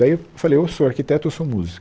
Daí eu falei, ou sou arquiteto, ou sou músico.